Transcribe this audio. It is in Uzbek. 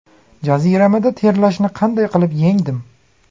Jaziramada terlashni qanday qilib yengdim?.